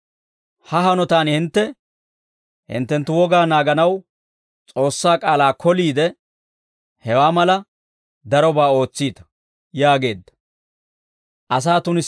Ha hanotaan hintte hinttenttu wogaa naaganaw, S'oossaa k'aalaa koliide, hewaa mala darobaa ootsiita» yaageedda.